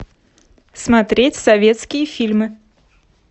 смотреть советские фильмы